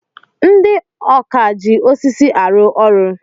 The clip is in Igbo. Ndị ọkà ji osisi arụ ọrụ.